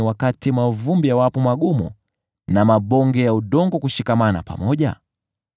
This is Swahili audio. wakati mavumbi yawapo magumu, na mabonge ya udongo kushikamana pamoja?